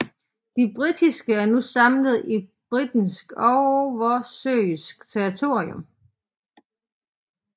De britiske er nu samlet i Britisk oversøisk territorium